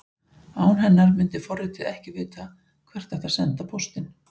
Án hennar myndi forritið ekki vita hvert ætti að senda póstinn.